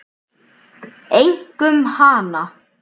Einkum hana.